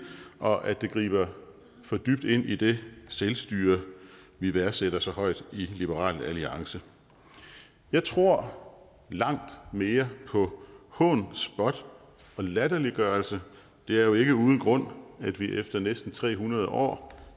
og at det griber for dybt ind i det selvstyre vi værdsætter så højt i liberal alliance jeg tror langt mere på hån spot og latterliggørelse det er jo ikke uden grund at vi efter næsten tre hundrede år